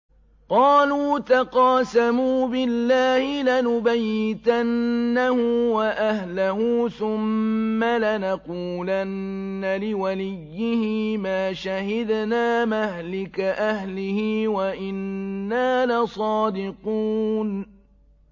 قَالُوا تَقَاسَمُوا بِاللَّهِ لَنُبَيِّتَنَّهُ وَأَهْلَهُ ثُمَّ لَنَقُولَنَّ لِوَلِيِّهِ مَا شَهِدْنَا مَهْلِكَ أَهْلِهِ وَإِنَّا لَصَادِقُونَ